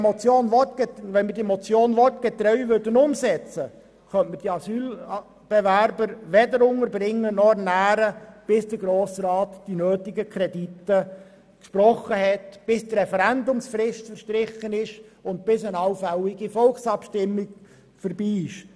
Wenn wir die Motion wortgetreu umsetzen würden, könnten wir die Asylbewerber weder unterbringen noch ernähren, bis der Grosse Rat die nötigen Kredite gesprochen hätte, die Referendumsfrist verstrichen und eine allfällige Volksabstimmung durchgeführt worden wäre.